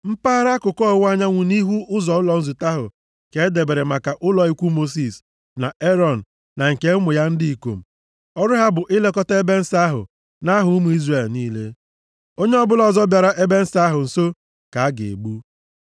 Mpaghara akụkụ ọwụwa anyanwụ nʼihu ụlọ nzute ahụ ka e debere maka ụlọ ikwu Mosis na Erọn, na nke ụmụ ya ndị ikom. Ọrụ ha bụ ilekọta ebe nsọ ahụ nʼaha ụmụ Izrel niile. Onye ọbụla ọzọ bịara ebe nsọ ahụ nso ka a ga-egbu.